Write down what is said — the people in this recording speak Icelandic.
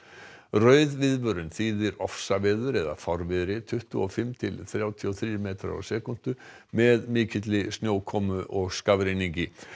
rauð viðvörun þýðir ofsaveður eða fárviðri tuttugu og fimm til þrjátíu og þrír metrar á sekúndu með mikilli snjókomu og skafrenningi